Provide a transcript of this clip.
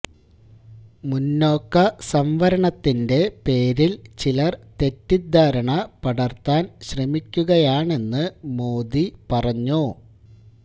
മുന്നോക്ക സംവരണത്തിന്റെ പേരില് ചിലര് തെറ്റിദ്ധാരണ പടര്ത്താന് ശ്രമിക്കുകയാണെന്ന് മോദി പറഞ്ഞു